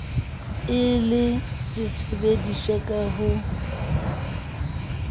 e le sesebediswa sa ho